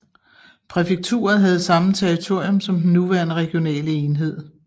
Præfekturet havde samme territorium som den nuværende regionale enhed